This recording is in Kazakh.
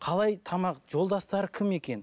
қалай тамақ жолдастары кім екен